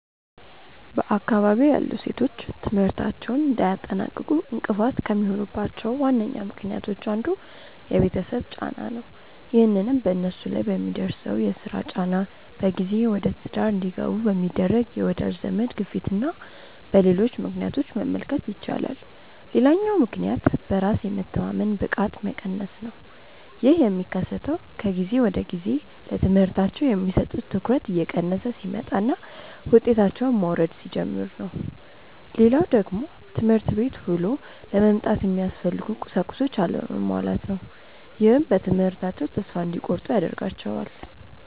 በአካባቢዬ ያሉ ሴቶች ትምህርታቸውን እንዳያጠናቅቁ እንቅፋት ከሚሆኑባቸው ዋነኛ ምክንያቶች አንዱ የቤተሰብ ጫና ነው። ይህንንም በነሱ ላይ በሚደርሰው የስራ ጫና፣ በጊዜ ወደትዳር እንዲገቡ በሚደረግ የወዳጅ ዘመድ ግፊትና በሌሎች ምክንያቶች መመልከት ይቻላል። ሌላኛው ምክንያት በራስ የመተማመን ብቃት መቀነስ ነው። ይህ የሚከሰተው ከጊዜ ወደጊዜ ለትምህርታቸው የሚሰጡት ትኩረት እየቀነሰ ሲመጣና ውጤታቸውም መውረድ ሲጀምር ነው። ሌላው ደግሞ ትምህርት ቤት ውሎ ለመምጣት የሚያስፈልጉ ቁሳቁሶች አለመሟላት ነው። ይህም በትምህርታቸው ተስፋ እንዲቆርጡ ያደርጋቸዋል።